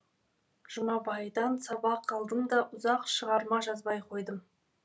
жұмабайдан сабақ алдым да ұзақ шығарма жазбай қойдым